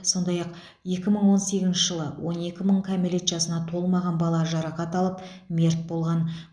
сондай ақ екі мың он сегізінші жылы он екі мың кәмелет жасына толмаған бала жарақат алып мерт болған